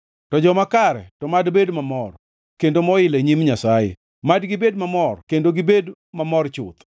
To joma kare to mad bed mamor kendo moil e nyim Nyasaye; mad gibed mamor kendo gibed mamor chuth.